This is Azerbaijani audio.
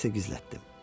Açar isə gizlətdim.